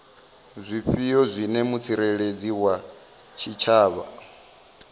zwifhio zwine mutsireledzi wa tshitshavha